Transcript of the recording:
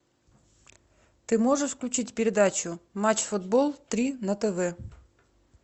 ты можешь включить передачу матч футбол три на тв